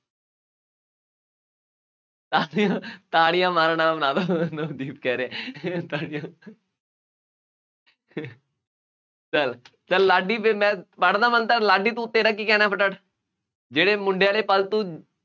ਤਾੜੀਆਂ ਮਾਰੋ ਨਾਲ ਨਾਲ, ਨਵਦੀਪ ਕਹਿ ਰਿਹਾ ਤਾੜੀਆਂ ਚੱਲ ਚੱਲ ਲਾਡੀ ਫੇਰ ਮੈਂ ਪੜ੍ਹ ਦਿਆਂ ਮੰਤਰ, ਲਾਡੀ ਤੂੰ ਤੇਰਾ ਕੀ ਕਹਿਣਾ ਫਟਾਫਟ, ਜਿਹੜੇ ਮੁੰਡਿਆਂ ਨੇ ਪਰ ਤੂੰ